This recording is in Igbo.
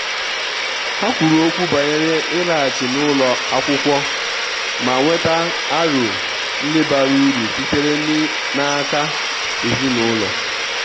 ha kwuru okwu banyere ịlaghachi n' ụlọ akwụkwọ ma nweta aro ndi bara uru sitere n' aka ezinụlọ.